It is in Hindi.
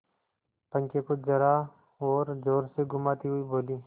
पंखे को जरा और जोर से घुमाती हुई बोली